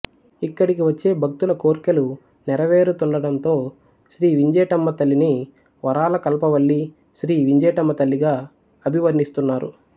ఇక్కడకి వచ్చే భక్తుల కోర్కెలు నెరవేరుతుండటంతో శ్రీ వింజేటమ్మతల్లిని వరాల కల్పవల్లి శ్రీ వింజేటమ్మతల్లిగా అభివర్ణిస్తున్నారు